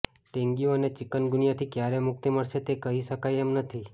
dengue અને ચિકનગુનિયાથી ક્યારે મુક્તિ મળશે તે કહી શકાય એમ નથી